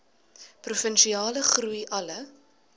provinsiale groei alle